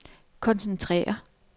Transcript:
koncentrere